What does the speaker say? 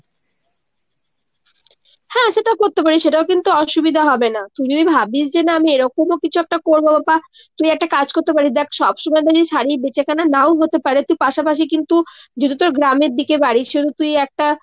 হ্যাঁ সেটা করতে প্যারিস। সেটাও কিন্তু অসুবিধা হবে না। তুই যদি ভাবিস যে না আমি এরকমই কিছু একটা করবো বা তুই একটা কাজ করতে পারিস দ্যাখ সবসময় শাড়ীর বেচাকেনা নাও হতে পারে তুই পাশাপাশি কিন্তু যেহেতু তোর গ্রামের দিকে বাড়ি সেহেতু তুই একটা